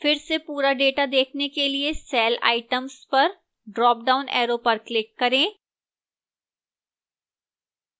फिर से पूरा data देखने के लिए cell items पर dropdown arrow पर click करें